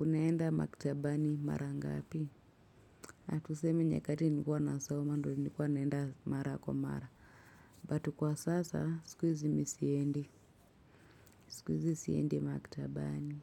Unaenda maktabani mara ngapi natuseme nyakati nilikua nasoma ndo nilikua naenda mara kwa mara but kwa sasa sikuizi mi siendi sikuizi siendi makitabani